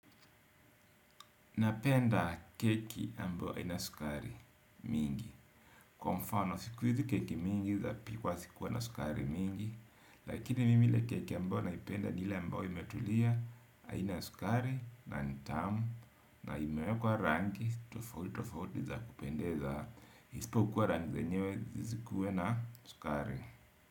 Napenda keki ambayo haina sukari mingi kwa mfano, siku hizi keki mingi zapikwa zikuwa na sukari mingi. Lakini mimi ile keki ambayo naipenda ni ile ambayo imetulia haina sukari na ni tamu. Na imewekwa rangi, tofauti tofauti za kupendeza. Isipokuwa rangi zenyewe zisikuwe na sukari.